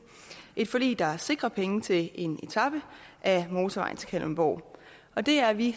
et forlig der sikrer penge til en etape af motorvejen til kalundborg og det er vi i